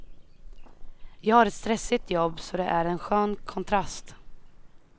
Jag har ett stressigt jobb, så det är en skön kontrast.